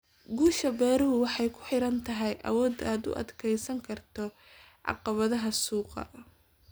Guusha beeruhu waxay ku xidhan tahay awoodda aad u adkaysan karto caqabadaha suuqa.